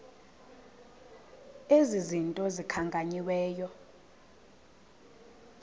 ezi zinto zikhankanyiweyo